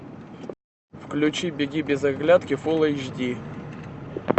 включи беги без оглядки фул эйч ди